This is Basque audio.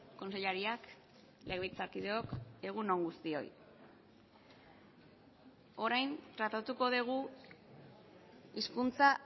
kontseilariak legebiltzarkideok egun on guztioi orain tratatuko dugu hizkuntza